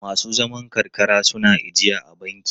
Masu zaman karkara suna ijiya a banki?